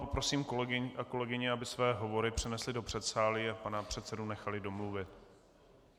Poprosím kolegy a kolegyně, aby své hovory přenesli do předsálí a pana předsedu nechali domluvit.